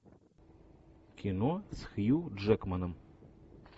кино с хью джекманом